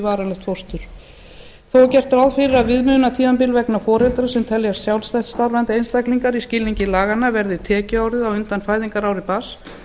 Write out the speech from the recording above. varanlegt fóstur þó er gert ráð fyrir að viðmiðunartímabil vegna foreldra sem teljast sjálfstætt starfandi einstaklingar í skilningi laganna verði tekjuárið á undan fæðingarári barns